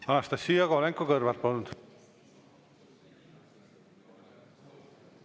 Anastassia Kovalenko-Kõlvart, palun!